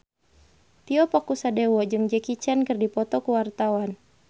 Tio Pakusadewo jeung Jackie Chan keur dipoto ku wartawan